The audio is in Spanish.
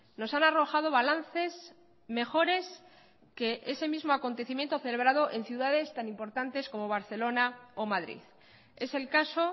nos han arrojado balances mejores que ese mismo acontecimiento celebrado en ciudades tan importantes como barcelona o madrid es el caso